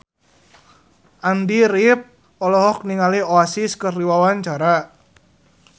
Andy rif olohok ningali Oasis keur diwawancara